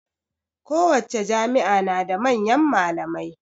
Kowace jami'a na da manyan malamai